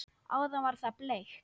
Áðan var það bleikt.